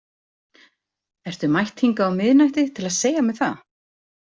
Ertu mætt hingað á miðnætti til að segja mér það?